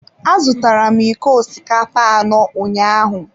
Azụtara m iko osikapa anọ ụnyaahụ.